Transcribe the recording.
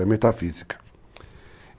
É metafísica.